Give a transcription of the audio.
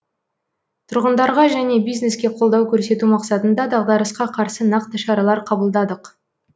тұрғындарға және бизнеске қолдау көрсету мақсатында дағдарысқа қарсы нақты шаралар қабылдадық